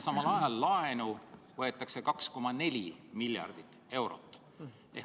Samal ajal laenu võetakse 2,4 miljardit eurot.